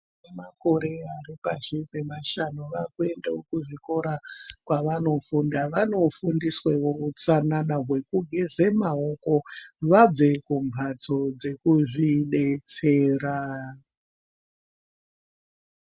Makore ari pashi pemashanu vakuendawo kuzvikora kwavanofunda vanofundiswawo utsanana hwekugeze maoko vabve kumhatso dzekuzvidetsera.